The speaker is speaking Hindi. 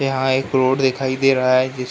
यहाँ एक रोड दिखाई दे रहा है जिस --